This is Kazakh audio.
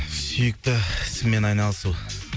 сүйікті ісіңмен айналысу